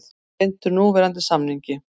Hlynntur núverandi samningi